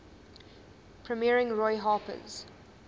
premiering roy harper's